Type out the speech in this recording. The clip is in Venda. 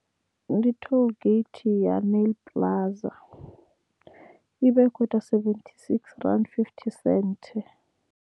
Ndi tollgate ya Nyl Plaza ivha i kho ita sevethi sixthy rannda fifty cent.